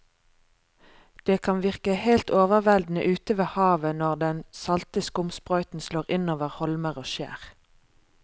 Det kan virke helt overveldende ute ved havet når den salte skumsprøyten slår innover holmer og skjær.